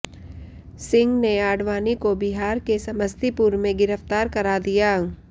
सिंह ने आडवाणी को बिहार के समस्तीपुर में गिरफ्तार करा दिया